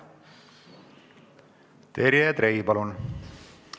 Terje Trei, palun!